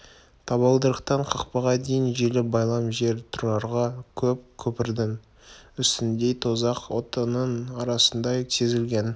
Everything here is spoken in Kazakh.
табалдырықтан қақпаға дейін желі байлам жер тұрарға қыл көпірдің үстіндей тозақ отының арасындай сезілген